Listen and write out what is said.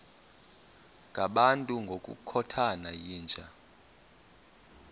ngabantu ngokukhothana yinja